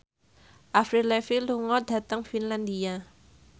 Avril Lavigne lunga dhateng Finlandia